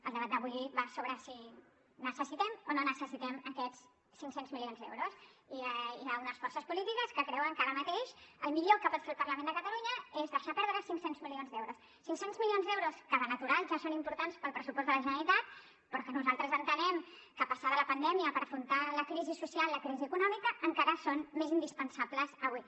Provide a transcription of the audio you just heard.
el debat d’avui va sobre si necessitem o no necessitem aquests cinc cents milions d’euros i hi ha unes forces polítiques que creuen que ara mateix el millor que pot fer el parlament de catalunya és deixar perdre cinc cents milions d’euros cinc cents milions d’euros que de natural ja són importants per al pressupost de la generalitat però que nosaltres entenem que passada la pandèmia per afrontar la crisi social la crisi econòmica encara són més indispensables avui